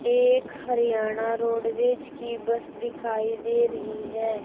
एक हरियाणा रोडवेज की बस दिखाई दे रही है।